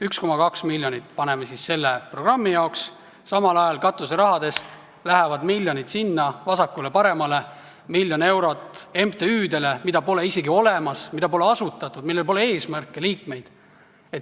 1,2 miljonit eraldame siis selle programmi jaoks, samal ajal katuserahadest lähevad miljonid vasakule-paremale: miljon eurot MTÜ-dele, mida pole isegi olemas, mida pole asutatud, millel pole eesmärke, liikmeid.